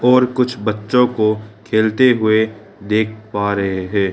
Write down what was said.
और कुछ बच्चों को खेलते हुए देख पा रहे है।